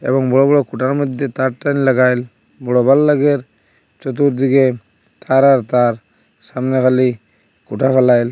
এবং বড় বড় খুটার মধ্যে তার টার লাগাইল বরাবর লাগের চতুর্দিকে তার আর তার সামনে হালি খুটা ফ্যালাইল।